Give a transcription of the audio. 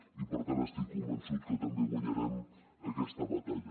i per tant estic convençut que també guanyarem aquesta batalla